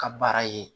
Ka baara ye